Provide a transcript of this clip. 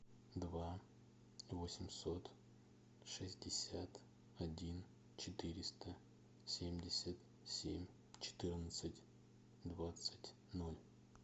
два восемьсот шестьдесят один четыреста семьдесят семь четырнадцать двадцать ноль